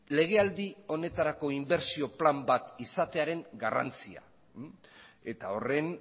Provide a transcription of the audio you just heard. legealdi honetarako inbertsio plan bat izatearen garrantzia eta horren